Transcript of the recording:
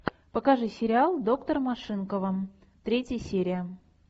покажи сериал доктор машинкова третья серия